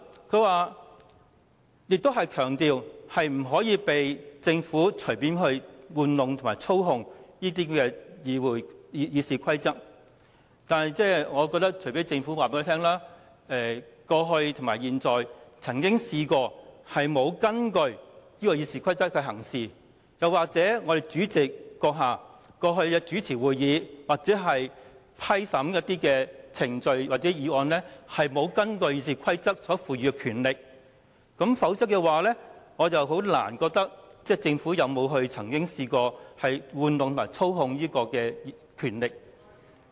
朱凱廸議員強調不可以讓政府隨意玩弄及操控《議事規則》，但除非政府告訴我們，過去或現在曾經沒有根據《議事規則》行事，又或主席過去主持會議或審批程序或議案時，沒有依據《議事規則》所賦予的權力行事，否則我難以認為政府曾經玩弄及操控權力。